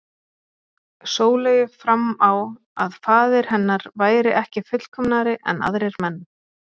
Sóleyju fram á að faðir hennar væri ekki fullkomnari en aðrir menn.